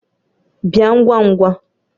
Bia ngwa ngwa!